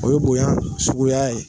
O ye bonya suguya ye